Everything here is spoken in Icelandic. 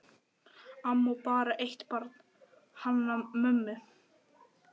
Amma á bara eitt barn, hana mömmu.